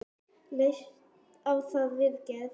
Leistu á þá viðgerð?